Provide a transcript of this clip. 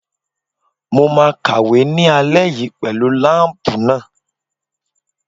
Mo máa kàwé ní alẹ́ yìí pẹ̀lú láǹpù náà.